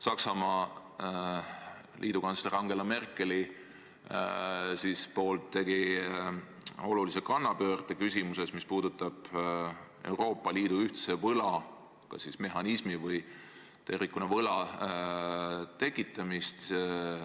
Saksamaa liidukantsler Angela Merkel tegi olulise kannapöörde küsimuses, mis puudutab Euroopa Liidu ühise võla mehhanismi või siis tervikuna võla tekitamist.